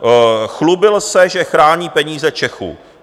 Chlubil se, že chrání peníze Čechů.